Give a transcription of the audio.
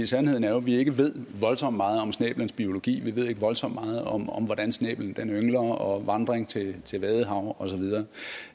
sandheden er jo at vi ikke ved voldsomt meget om snæblens biologi vi ved ikke voldsomt meget om om hvordan snæblen yngler og vandring til til vadehav og så videre